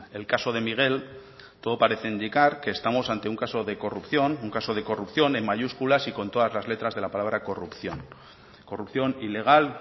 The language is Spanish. el caso de miguel todo parece indicar que estamos ante un caso de corrupción un caso de corrupción en mayúsculas y con todas las letras de la palabra corrupción corrupción ilegal